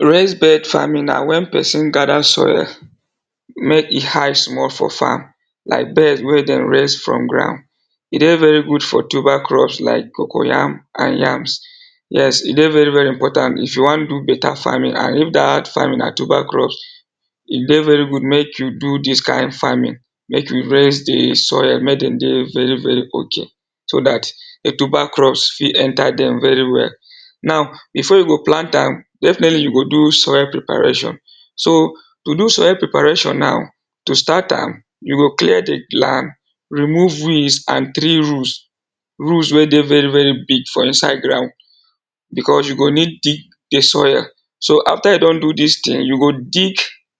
Raised bed farming na when person gather soil make e high small for farm like beds wey dem raise from ground, e dey very good for tuber crops like cocoyam and yams, yes e dey very very important if you wan do better farming and if dat farming na tuber crops e dey very good make you do dis kain farming, make you raise dey soil make dem dey very very okay so that tuber crops fit enter dem very well. Now before you go plant definitely you go do soil preparation, so to do soil preparation now, to start am you go clear dey land remove weeds and tree roots roots wey dey very very big for inside ground because you go need dig the soil, so after you don do dis thing you go dig